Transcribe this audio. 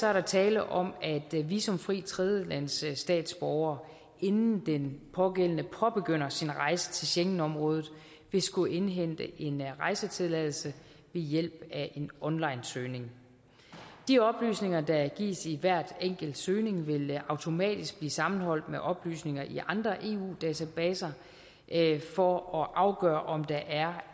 er der tale om at en visumfri tredjelandsstatsborger inden den pågældende påbegynder sin rejse til schengenområdet vil skulle indhente en rejsetilladelse ved hjælp af en onlinesøgning de oplysninger der gives i hver enkelt søgning vil automatisk blive sammenholdt med oplysninger i andre eu databaser for at afgøre om der er